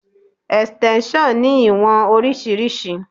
Extension ní ìwọ̀n oríṣiríṣi.